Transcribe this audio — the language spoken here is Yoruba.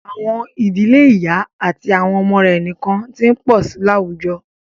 À̀wọn ìdílé ìyá àti àwọn ọmọ rẹ̀ nìkan ti ń pọ̀ sí i láwùjọ.